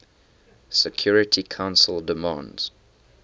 security council demands